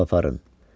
Qabı aparın.